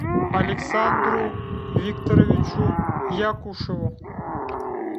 александру викторовичу якушеву